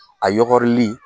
A yɔgɔrili